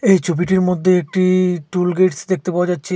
এই ছবিটির মধ্যে একটি টুল গেটস দেখতে পাওয়া যাচ্ছে।